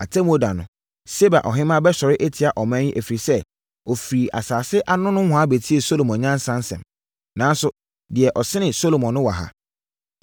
Atemmuo da no, Seba Ɔhemmaa bɛsɔre atia ɔman yi ɛfiri sɛ, ɔfiri asase ano nohoa bɛtiee Salomo nyansa nsɛm. Nanso, deɛ ɔsene Salomo no wɔ ha.